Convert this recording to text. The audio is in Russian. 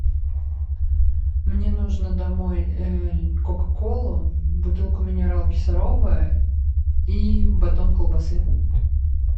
мне нужно домой кока колу бутылку минералки сарова и батон колбасы